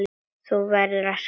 Þú verður að skilja.